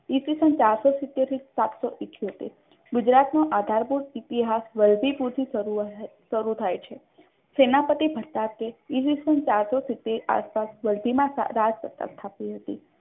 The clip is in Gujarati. ઇસ વીસન ચારસો સીતોત્ર થી સાતસો ઇઠોતેર ગુજરાતનું આધારભૂત સીપી આહાર શરૂ થાય છે સેનાપતિભર પાસે તેમાં રાજ સત્તા સ્થાપી હતી.